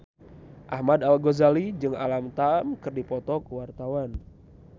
Ahmad Al-Ghazali jeung Alam Tam keur dipoto ku wartawan